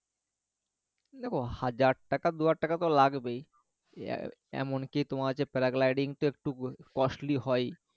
দেখো হাজার টাকা দুই হাজার টাকা তো লাগবেই এমন কি তোমার হচ্ছে paragliding তো একটু costly হয়